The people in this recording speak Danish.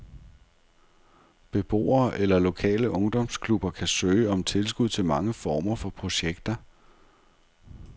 Beboere eller lokale ungdomsklubber kan søge om tilskud til mange former for projekter.